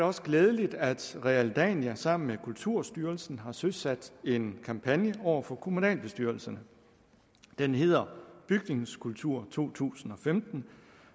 også glædeligt at realdania sammen med kulturstyrelsen har søsat en kampagne over for kommunalbestyrelserne den hedder bygningskultur to tusind og femten